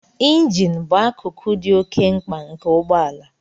Injin bụ akụkụ dị oke mkpa nke ụgbọ ala